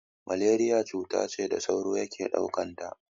Malariya cuta ce da sauro yake ɗaukanta.